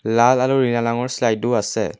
লাল আৰু নীলা শ্লাইডো আছে।